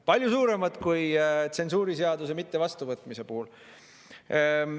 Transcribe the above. Palju suuremaid trahve kui tsensuuriseaduse mittevastuvõtmise puhul.